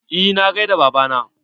Eh na gaida baba na.